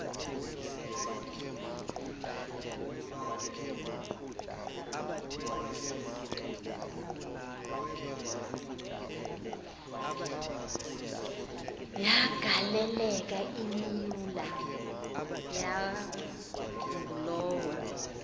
yagaleleka imyula yangulowo